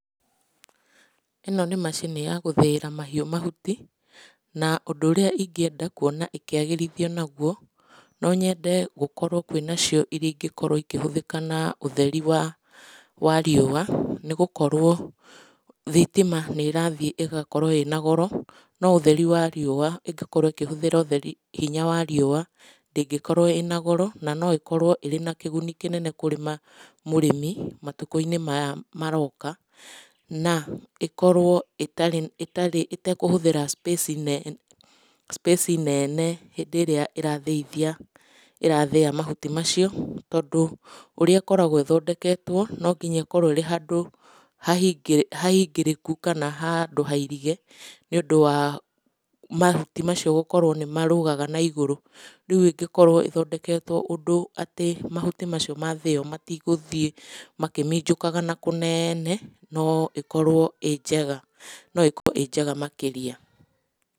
Ĩno nĩ macini ya gũthĩĩra mahiũ mahuti, na ũndũ ũrĩa ingĩenda kuona ũkĩagĩrithio naguo, no nyende gũkorwo kwĩnacio ingĩhũthĩka na ũtheri wa riũa, nĩ gũkorwo thitima nĩ ĩrathiĩ ĩgakorwo ĩna goro, no ũtheri wa riũa ĩngĩkorwo ĩkĩhũthĩra hinya wa riũa, ndĩngĩkorwo ĩna goro, na no ĩkorwo ĩrĩna kĩgũni kĩnene kũrĩ mũrĩmi, na matukũ-inĩ maya maroka, na ĩkorwo ĩtekũhũthĩra space nene, hindĩ ĩrĩa irathĩa mahuti macio. Tondũ ũrĩa ĩkoragwo ĩthondeketwo, no nginya ĩkorwo handũ hahingĩrĩku kana handũ hairige nĩ ũndũ wa mahuti macio nĩ marũgaga maigũrũ, koguo ĩngĩkorwo ĩthondeketwo ũndũ atĩ mahuti macio mathĩyo matigũthiĩ makĩminjukaga nakũu kũnene no ĩkorwo ĩnjega makĩria.